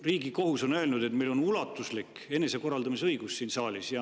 Riigikohus on öelnud, et meil on ulatuslik enesekorraldamise õigus siin saalis.